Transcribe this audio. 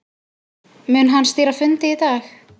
Mun hann stýra fundi í dag